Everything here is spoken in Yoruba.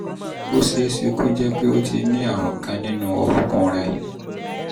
ó ṣe é ṣe kó jẹ́ pé o ti ní àrùn kan nínú orúnkún rẹ